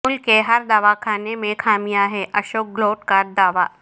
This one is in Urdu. ملک کے ہر دواخانہ میں خامیاں ہیں اشوک گہلوٹ کا دعوی